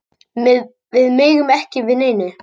Bræður gripnir við mannát